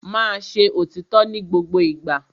Máa ṣe òrítọ́ ní gbogbo ìgbà.